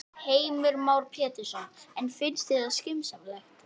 Heimir Már Pétursson: En finnst þér það skynsamlegt?